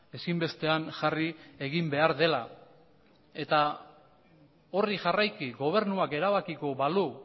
ezinbestean jarri egin behar dela eta horri jarraiki gobernuak erabakiko balu